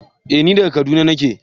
Eh ni daga kaduna nake.